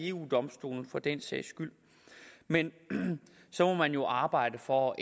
eu domstolen for den sags skyld men så må man jo arbejde for